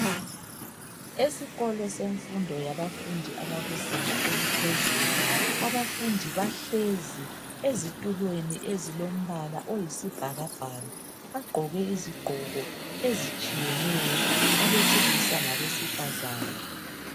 Esikolo semfundo yabafundi yezinga eliphezulu. Abafundi bahlezi, ezitulweni ezilombala oyisibhakabhaka. Bagqoke izigqoko ezitshiyeneyo. Abesilisa labesifazana.